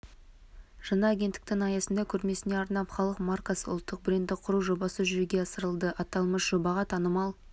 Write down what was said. жаңа агенттіктің аясында көрмесіне арнап халық маркасы ұлттық брендті құру жобасы жүзеге асырылады аталмыш жобаға танымал